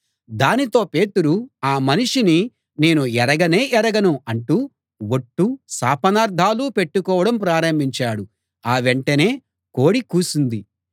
దానితో పేతురు ఆ మనిషిని నేను ఎరగనే ఎరగను అంటూ ఒట్లు శాపనార్ధాలూ పెట్టుకోవడం ప్రారంభించాడు ఆ వెంటనే కోడి కూసింది